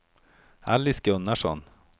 Alice Gunnarsson